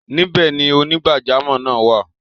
Níbẹ̀ ni onígbàjàmọ́ náà wà?